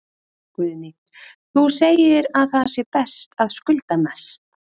Guðný: Þú segir að það sé best að skulda mest?